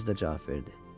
Özü də cavab verdi.